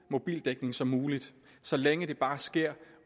mobildækning som muligt så længe det bare sker